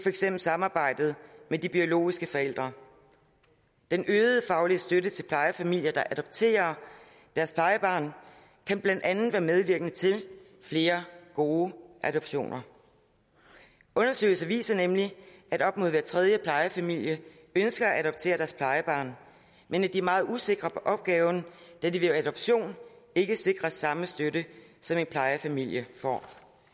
eksempel samarbejdet med de biologiske forældre den øgede faglige støtte til plejefamilier der adopterer deres plejebarn kan blandt andet være medvirkende til flere gode adoptioner undersøgelser viser nemlig at op mod hver tredje plejefamilie ønsker at adoptere deres plejebarn men at de er meget usikre på opgaven da de ved adoption ikke sikres samme støtte som en plejefamilie får